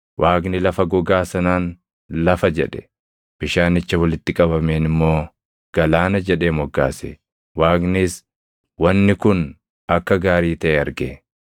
Waaqni lafa gogaa sanaan “lafa” jedhe; bishaanicha walitti qabameen immoo “galaana” jedhee moggaase. Waaqnis wanni kun akka gaarii taʼe arge.